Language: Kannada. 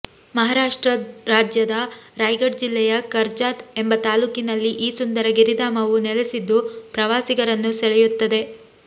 ಮಹಾರಾಷ್ಟ್ರ ರಾಜ್ಯದ ರಾಯ್ಗಡ್ ಜಿಲ್ಲೆಯ ಕರ್ಜಾತ್ ಎಂಬ ತಾಲೂಕಿನಲ್ಲಿ ಈ ಸುಂದರ ಗಿರಿಧಾಮವು ನೆಲೆಸಿದ್ದು ಪ್ರವಾಸಿಗರನ್ನು ಸೆಳೆಯುತ್ತದೆ